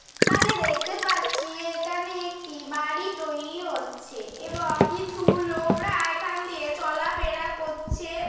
এখানে দেখতে পাচ্ছি এখানে একটি বাড়ি তৈরি হচ্ছে। এবং কিছু লোকরা এখান দিয়ে চলা ফেরা করছে।